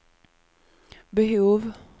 behov